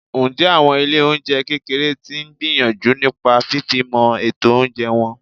Ǹjẹ́ àwọn ilé oúnjẹ kékeré tí ń gbìyànjú nípa fifimo ètò oúnjẹ wọn?